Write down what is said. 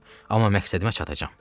Amma məqsədimə çatacam.